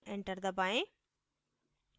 enter दबाएँ